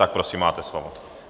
Tak prosím, máte slovo.